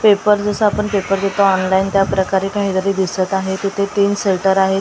Paper जसं आपण paper देतो ऑनलाईन त्या प्रकारे काहीतरी दिसत आहे तिथे तीन शटर आहेत .